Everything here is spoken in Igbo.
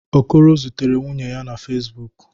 Okoro zutere nwunye ya na Fezbụk.